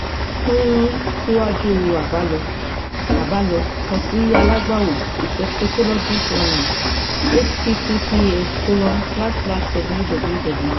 fun siwaju abalọ abalọ kan si alagbawọ a sexologist online https colon slash slash www